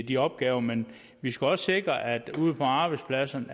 de opgaver men vi skal også sikre at ude på arbejdspladsen